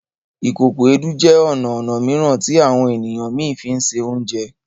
Ìkòkò Èédú jẹ ọna ọnà mìíràn ti àwọn ènìyàn mí fínṣe Oúnjẹ